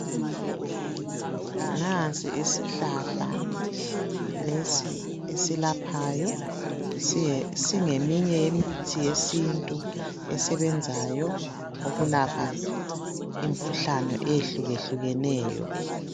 Nansi isihlahla esilaphayo singeminye yesihlahla yemithi yesintu esebenzayo esilaphayo imikhuhlane ehlukehlukeneyo .